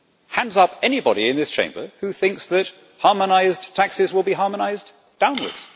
Hands up anybody in this Chamber who thinks that harmonised taxes will be harmonised downwards?